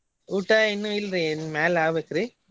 ಊಟಾ ಇನ್ನು ಇಲ್ರಿ ಇನ್ ಮ್ಯಾಲ ಆಬೇಕ್ರಿ.